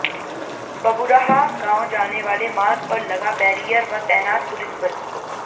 बबुरहा गांव जाने वाले मार्ग पर लगा बैरियर व तैनात पुलिसबल